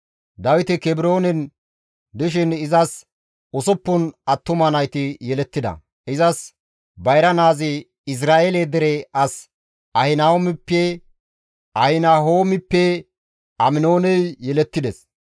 Dawiti Kebroonen dishin izas usuppun attuma nayti yelettida; izas bayra naazi Izra7eele dere as Ahinahoomppe Aminooney yelettides.